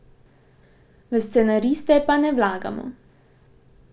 V scenariste pa ne vlagamo.